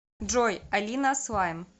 джой алина слайм